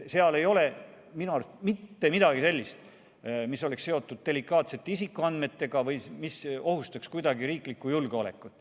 Seal ei ole minu arust mitte midagi sellist, mis oleks seotud delikaatsete isikuandmetega või mis ohustaks kuidagi riiklikku julgeolekut.